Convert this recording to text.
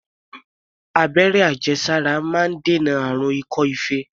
Abẹ́rẹ́ àjẹsára máa ń dènà àrùn ikọ́-ife.